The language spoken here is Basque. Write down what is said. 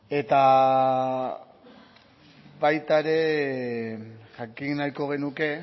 eta baita ere jakin nahiko genuke